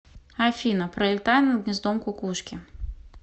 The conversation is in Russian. афина пролетая над гнездом кукушки